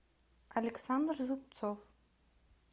александр зубцов